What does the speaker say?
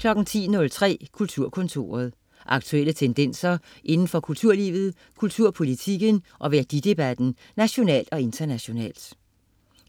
10.03 Kulturkontoret. Aktuelle tendenser inden for kulturlivet, kulturpolitikken og værdidebatten nationalt og internationalt